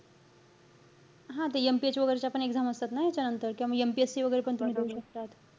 हा ते MPH वैगेरे च्या पण exam असतात ना, ह्यांच्यानंतर? किंवा मग MPSC वैगेरे पण तुम्ही देऊ शकतात.